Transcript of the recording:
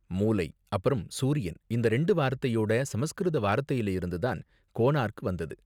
மூலை அப்பறம் சூரியன் இந்த ரெண்டு வாரத்தையோட சமஸ்கிருத வார்த்தையில இருந்து தான் 'கோனார்க்' வந்தது.